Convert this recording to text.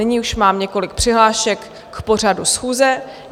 Nyní už mám několik přihlášek k pořadu schůze.